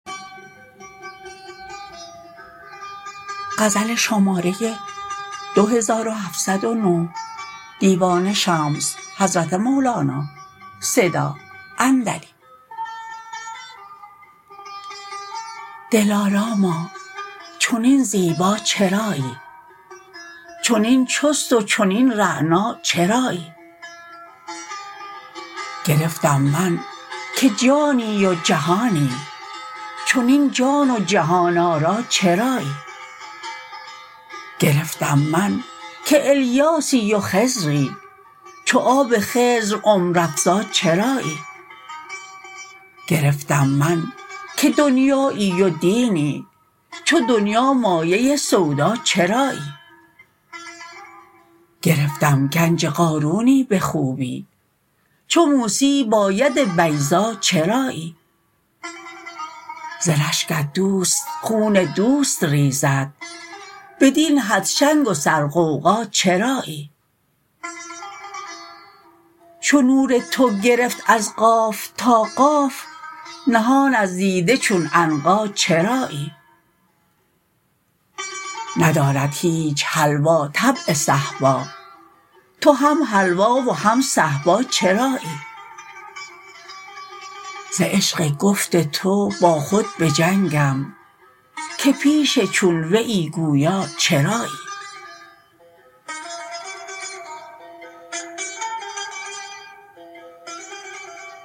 دلاراما چنین زیبا چرایی چنین چست و چنین رعنا چرایی گرفتم من که جانی و جهانی چنین جان و جهان آرا چرایی گرفتم من که الیاسی و خضری چو آب خضر عمرافزا چرایی گرفتم من که دنیایی و دینی چو دنیا مایه سودا چرایی گرفتم گنج قارونی به خوبی چو موسی با ید بیضا چرایی ز رشکت دوست خون دوست ریزد بدین حد شنگ و سرغوغا چرایی چو نور تو گرفت از قاف تا قاف نهان از دیده چون عنقا چرایی ندارد هیچ حلوا طبع صهبا تو هم حلوا و هم صهبا چرایی ز عشق گفت تو با خود بجنگم که پیش چون ویی گویا چرایی